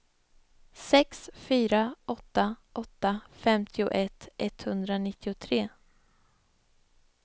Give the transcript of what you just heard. sex fyra åtta åtta femtioett etthundranittiotre